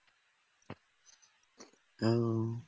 ও